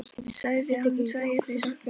Sagði að hún sæi þau samt fyrir sér.